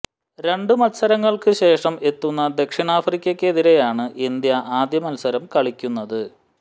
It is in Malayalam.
രണ്ട് മത്സരങ്ങള്ക്ക് ശേഷം എത്തുന്ന ദക്ഷിണാഫ്രിക്കക്കെതിരെയാണ് ഇന്ത്യ ആദ്യ മത്സരം കളിക്കുന്നത്